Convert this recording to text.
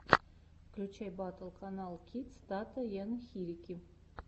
включай батл каналкидс тата ен хирики